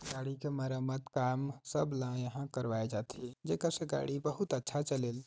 गाड़ी के मरम्मत काम सब ला यहाँ करवाए जात थे जेकर से गाड़ी बहुत अच्छा चले--